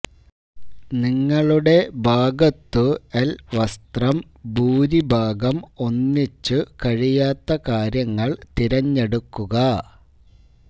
നിങ്ങളുടെ ഭാഗത്തു ൽ വസ്ത്രം ഭൂരിഭാഗം ഒന്നിച്ച് കഴിയാത്ത കാര്യങ്ങൾ തിരഞ്ഞെടുക്കുക